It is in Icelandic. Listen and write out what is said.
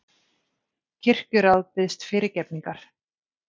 Kirkjuráð biðst fyrirgefningar